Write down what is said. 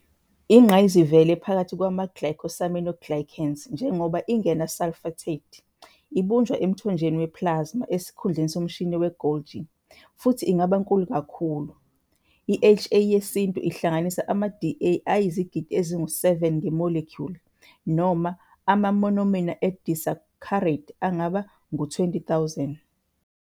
Iyingqayizivele phakathi kwama-glycosaminoglycans njengoba ingena-sulfated, ibunjwa emthonjeni we-plasma esikhundleni somshini we-Golgi, futhi ingaba nkulu kakhulu- i-HA yesintu ihlanganisa ama-Da ayizigidi ezingu-7 nge-molecule, noma ama-monomer e-disaccharide angaba ngu-20,000.